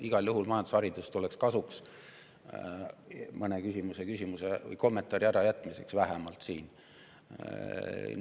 Igal juhul majandusharidus tuleks kasuks, siis jääks nii mõnigi küsimus või kommentaar olemata, vähemalt siin.